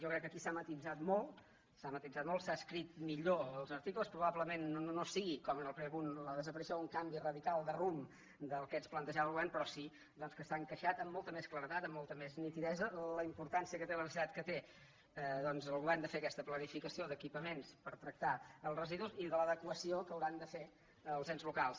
jo crec que aquí s’ha matisat molt s’ha matisat molt s’han escrit millor els articles probablement no sigui com en el primer punt la desaparició un canvi ra·dical de rumb del que ens plantejava el govern però sí doncs que s’ha encaixat amb molta més claredat amb molta més nitidesa la importància que té la necessitat que té el govern de fer aquesta planificació d’equipa·ments per tractar els residus i de l’adequació que hauran de fer els ens locals